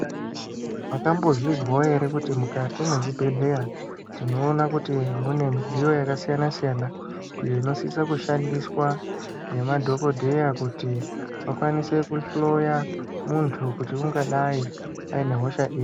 Makambozvizwawo ere kuti mukati mwezvibhedhleya, tinoona kuti mune midziyo yakasiyana-siyana, iyo inosisa kushandiswa ngemadhokodheya ,kuti vakwanise kuhloya muntu kuti ungadai aine hosha ipi.